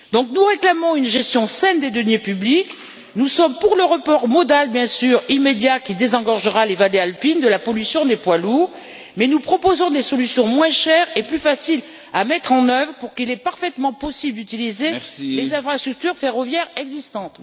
Nous réclamons une gestion saine des deniers publics, nous sommes pour le report modal, bien sûr, immédiat qui désengorgera les vallées alpines de la pollution des poids lourds, mais nous proposons des solutions moins chères et plus faciles à mettre en œuvre pour lesquelles il est parfaitement possible d'utiliser les infrastructures ferroviaires existantes.